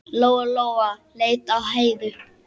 Lóa-Lóa leit á Heiðu.